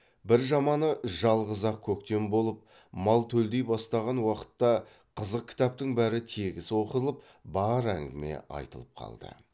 бір жаманы жалғыз ақ көктем болып мал төлдей бастаған уақытта қызық кітаптың бәрі тегіс оқылып бар әңгіме айтылып қалды